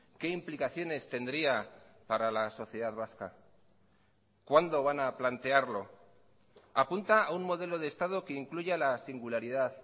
qué implicaciones tendría para la sociedad vasca cuándo van a plantearlo apunta a un modelo de estado que incluya la singularidad